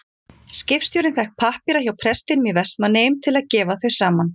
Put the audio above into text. Skipstjórinn fékk pappíra hjá prestinum í Vestmannaeyjum til að gefa þau saman.